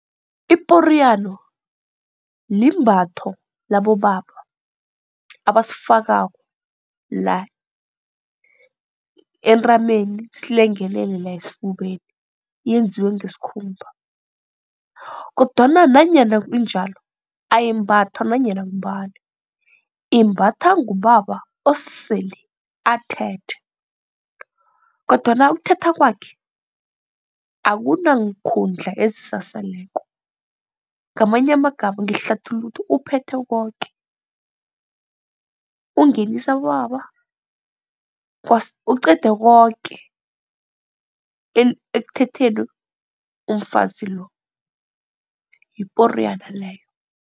Iporiyano limbatho labobaba abasifakako la entameni silengelele la esifubeni yenziwe ngesikhumba kodwana nanyana injalo ayimbathwa nanyana ngubani, imbatha ngubaba osele athethe kodwana ukuthatha kwakhe akunankhundla ezisasaleko ngamanye amagama ngihlathulula ukuthi uphethe koke. Ukungenisa abobaba uqede koke ekuthetheni umfazi lo yiporiyana leyo.